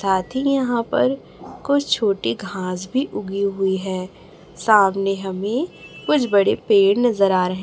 साथी यहां पर कुछ छोटी घास भी उगी हुई है सामने हमें कुछ बड़े पेड़ नजर आ रहे।